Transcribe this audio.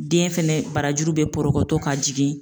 Den fɛnɛ barajuru bɛ porokoto ka jigin.